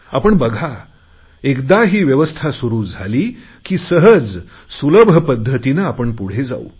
आपण बघा एकदा ही व्यवस्था सुरु झाली की सहजसुलभ पध्दतीने आपण पुढे जाऊ